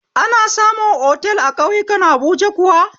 Ana samu otal a ƙauyakun habuja kuwa?